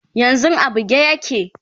yanzun a buge yake